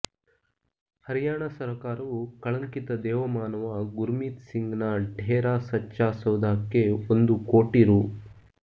ಹರ್ಯಾಣ ಸರಕಾರವು ಕಳಂಕಿತ ದೇವಮಾನವ ಗುರ್ಮೀತ್ ಸಿಂಗ್ ನ ಡೇರ ಸಚ್ಚಾ ಸೌದಾಕ್ಕೆ ಒಂದು ಕೋಟಿ ರೂ